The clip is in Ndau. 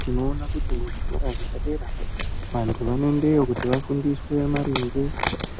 Tinoona kuti mu zvikora zvepadera vantu vano endeyo kuti va fundiswe maringe